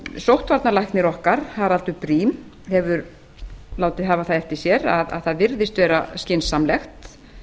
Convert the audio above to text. sóttvarnalæknir okkar haraldur briem hefur látið hafa það eftir sér að það virðist vera skynsamlegt